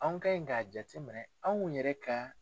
An ka ɲi k'a jate minɛ anw yɛrɛ ka.